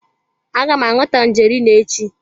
Aga m aṅụ tangerine echi.